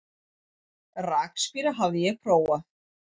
Rakspíra hafði ég prófað.